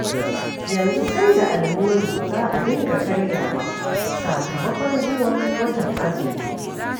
Yanzu sai da almuru za a dinga karyawa sakamakon zuwan watan azumi.